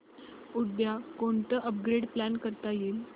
उद्या कोणतं upgrade plan करता येईल